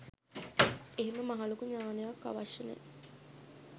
එහෙම මහලොකු ඥානයක් අවශ්‍ය නෑ.